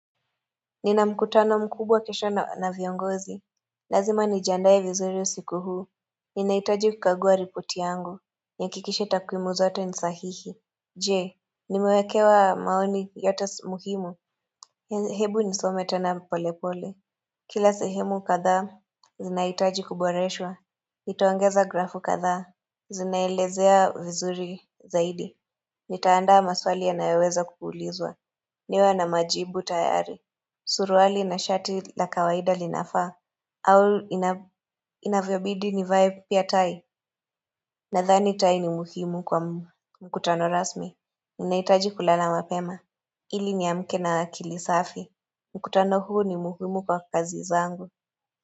Nina mkutano mkubwa kisha na viongozi. Lazima nijaandaye vizuri usiku huu. Ninahitaji kukagua ripoti yangu. Nihakikishe takrimo zote ni sahihi. Jee, nimewekewa maoni yote muhimu. Hebu nisome tena polepole. Kila sehemu kadhaa, zinahitaji kuboreshwa. Itongeza grafu kadhaa. Zinailezea vizuri zaidi. Nitaanda maswali yanoweza kuulizwa. Niwe na majibu tayari. Suruali na shati la kawaida linafaa au ina inavyobidi nivae pia tai Nadhani tai ni muhimu kwa mkutano rasmi ninahitaji kulala mapema ili niamke na akili safi mkutano huu ni muhimu kwa kazi zangu.